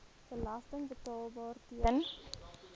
belasting betaalbaar ten